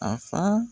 A fa